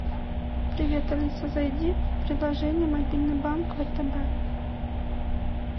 привет алиса зайди в приложение мобильный банк втб